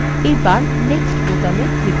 এবার next বোতামে click করুন